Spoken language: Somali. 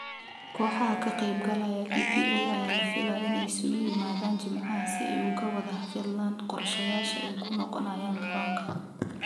Kooxaha ka qeyb galaya EPL ayaa la filayaa inay isugu yimaadaan Jimcaha si ay uga wada hadlaan qorshayaasha ay ku noqonayaan garoonka.